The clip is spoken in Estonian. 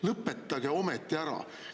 Lõpetage ometi ära!